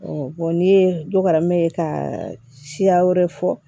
n'i ye dɔ karam'e ye ka siya wɛrɛ fɔ